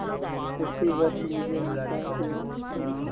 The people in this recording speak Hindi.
उसी वक्त मुझे निकाल दिया और